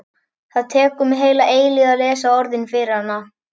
Það tekur mig heila eilífð að lesa orðin fyrir hana.